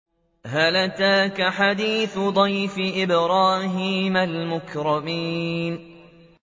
هَلْ أَتَاكَ حَدِيثُ ضَيْفِ إِبْرَاهِيمَ الْمُكْرَمِينَ